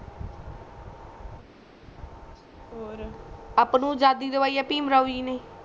ਔਰ ਆਪਾ ਨੂੰ ਅਜ਼ਾਦੀ ਦਵਾਯੀ ਭੀਮ ਰਾਵ ਜੀ ਨੇ